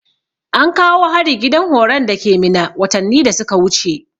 Ankawo hari gidan horon dake minna watanni da suka wuce